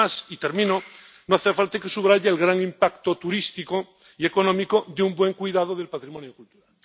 Y, además no hace falta que subraye el gran impacto turístico y económico de un buen cuidado del patrimonio cultural.